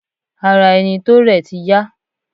Ara ẹni tó rẹ̀ ti yá.